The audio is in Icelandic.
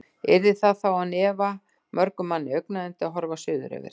Yrði það þá án efa mörgum manni augnayndi, að horfa suður yfir